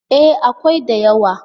E, akwai da yawa.